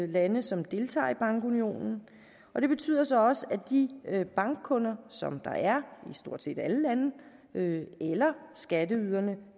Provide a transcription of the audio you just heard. lande som deltager i bankunionen og det betyder så også at de bankkunder som der er i stort set alle lande eller skatteyderne